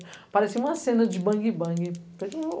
Aparecia uma cena de bangue-bangue.